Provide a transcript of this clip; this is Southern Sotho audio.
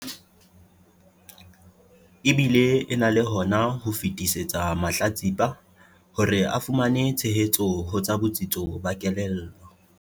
E bile e na le hona ho fetisetsa mahlatsipa hore a fumane tshehetso ho tsa botsitso ba kelello.